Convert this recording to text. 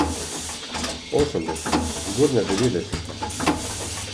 Osemdeseta, zgodnja devetdeseta.